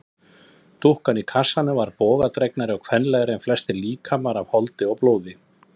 Dúkkan í kassanum var bogadregnari og kvenlegri en flestir líkamar af holdi og blóði.